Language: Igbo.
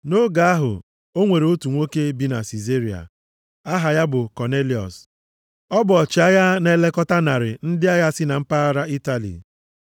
Nʼoge ahụ, o nwere otu nwoke bi na Sizaria, aha ya bụ Kọnelịọs. O bụ ọchịagha na-elekọta narị ndị agha si na mpaghara Itali.